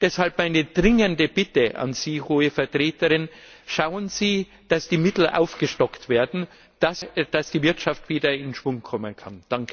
Deshalb meine dringende Bitte an Sie, Hohe Vertreterin Schauen Sie, dass die Mittel aufgestockt werden, damit die Wirtschaft wieder in Schwung kommen kann.